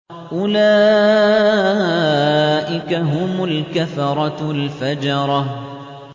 أُولَٰئِكَ هُمُ الْكَفَرَةُ الْفَجَرَةُ